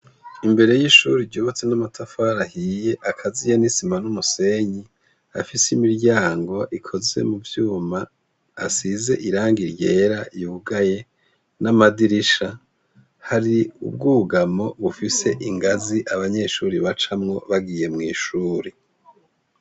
Imbere y’ishure ryubatse n’amatafari ahiye akaziye n’isima n’umusenyi, afise imiryango ikozwe muvyuma asize irangi ryera ryugaye n’amadirisha. Hari ubwugamo bufise ingazi abanyeshure bacamwo bagiye mw’ishure.